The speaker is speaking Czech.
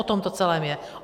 O tom to celé je.